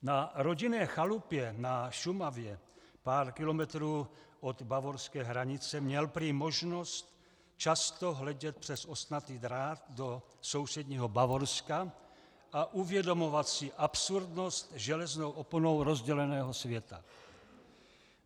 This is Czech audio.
Na rodinné chalupě na Šumavě, pár kilometrů od bavorské hranice, měl prý možnost často hledět přes ostnatý drát do sousedního Bavorska a uvědomovat si absurdnost železnou oponou rozděleného světa.